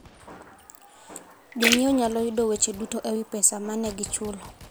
Jonyiewo nyalo yudo weche duto e wi pesa ma ne gichulo.